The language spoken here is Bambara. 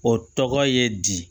O tɔgɔ ye di